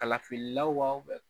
Kalafilaw wa